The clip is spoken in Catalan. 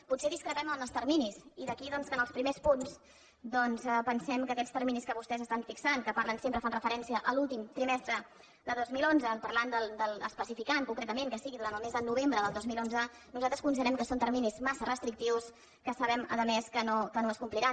potser discrepem en els terminis i d’aquí doncs que en els primers punts pensem que aquests terminis que vostès estan fixant que parlen sempre fan referència a l’últim trimestre de dos mil onze parlant especificant concretament que sigui durant el mes de novembre del dos mil onze nosaltres considerem que són terminis massa restrictius que sabem a més que no es compliran